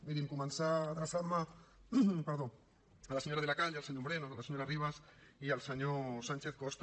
mirin començar adreçant me a la senyora de la calle al senyor moreno a la senyora ribas i al senyor sánchez costa